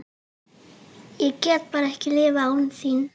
Ég get bara ekki lifað án þín.